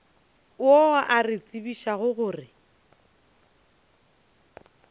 yo a re tsebišago gore